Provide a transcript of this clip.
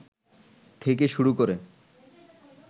থেকে শুরু করে